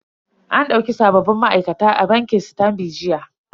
An dauki sabbin ma'aikata a bankin sitanbi jiya.